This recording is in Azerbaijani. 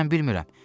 Mən bilmirəm.